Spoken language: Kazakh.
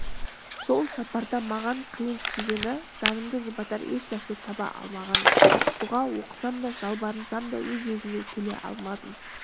сол сапарда маған қиын тигені жанымды жұбатар ешнәрсе таба алмағаным дұға оқысам да жалбарынсам да өз-өзіме келе алмадым